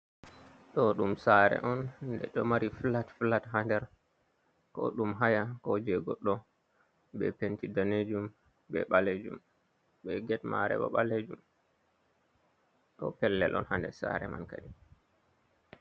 Ɗo ɗum saare on. Nde ɗo mari flat-flat haa nder, ko ɗum haya, ko je goɗɗo, be penti daneejum be ɓaleejum, be get maare bo ɓaleejum, ɗo pellel on haa nder saare man kadi.